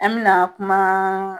An mena kumaa